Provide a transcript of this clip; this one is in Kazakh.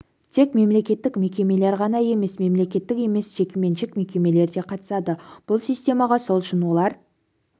тек мемлекеттік мекемелер ғана емес мемлекеттік емес жекеменшік мекемелер де қатысады бұл системаға сол үшін олар